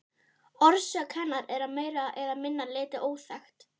Orsök hennar er að meira eða minna leyti óþekkt.